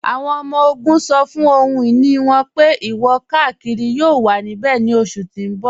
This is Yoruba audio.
Awọn ọmọ-ogun ṣọ́ fún ọhun-iní wọn pé ìwọ-kàkírí yóò wà níbẹ̀ ní oṣù tí n bọ.